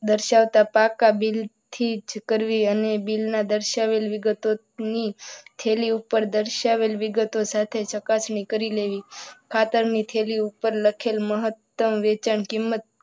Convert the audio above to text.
દર્શાવતા પાકા બિલથી જ કરવી અને બિલમાં દર્શાવેલ વિગતો ની થેલી ઉપર દર્શાવેલ વિગતો સાથે ચકાસણી કરીને ખાતરની થેલી ઉપર લખેલ મહત્તમ વેચાણ કિંમત,